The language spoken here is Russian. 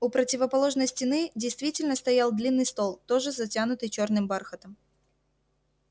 у противоположной стены действительно стоял длинный стол тоже затянутый чёрным бархатом